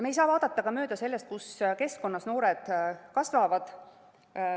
Me ei saa vaadata mööda ka sellest, kus keskkonnas noored kasvavad.